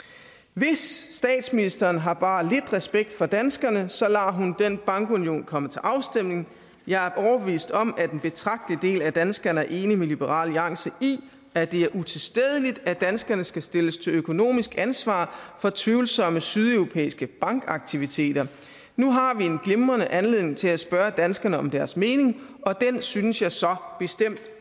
hvis statsministeren har bare lidt respekt for danskerne så lader hun den bankunion komme til afstemning jeg er overbevist om at en betragtelig del af danskerne er enige med liberal alliance i at det er utilstedeligt at danskerne skal stilles til økonomisk ansvar for tvivlsomme sydeuropæiske bankaktiviteter nu har vi en glimrende anledning til at spørge danskerne om deres mening og den synes jeg så bestemt